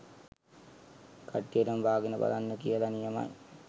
කට්ටියටම බාගෙන බලන්න කියල.නියමයි.